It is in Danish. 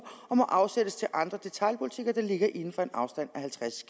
og må afsættes til andre detailbutikker der ligger inden for en afstand af halvtreds